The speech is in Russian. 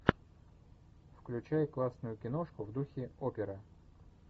включай классную киношку в духе опера